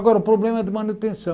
Agora, o problema é de manutenção.